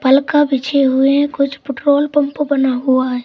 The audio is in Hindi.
बिछे हुए है कुछ पेट्रोलपंप बना हुआ है।